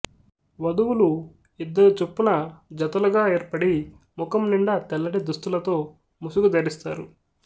వధువులు ఇద్దరు చొప్పున జతలుగా ఏర్పడి ముఖం నిండా తెల్లటి దుస్తులతో ముసుగు ధరిస్తారు